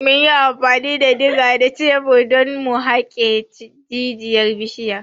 Mun yi amfani da diga da shebir don mu haƙe jijiyar bishiyar.